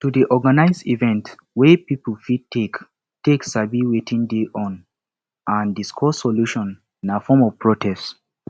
to de organise event wey pipo fit take fit take sabi wetin de go on and discuss solutions na form of protest